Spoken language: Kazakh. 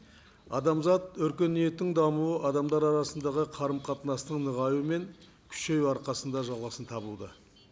адамзат өркениетін даумы адамдар арасындағы қарым қатынастың нығаюы мен күшеюі арқасында жалғасын табуда